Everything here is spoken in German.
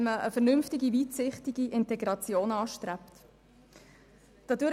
Wenn man eine vernünftige, weitsichtige Integration anstrebt, kann es so nicht wirklich gut kommen.